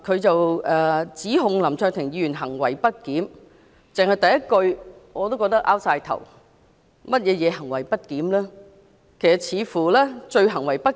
他指控林卓廷議員行為不檢，單是議案的第一句，已經令我摸不着頭腦，林議員如何行為不檢？